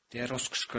Deyə Rus qışqırdı.